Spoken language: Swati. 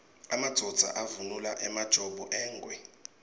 emadvodza avunula emajobo engwe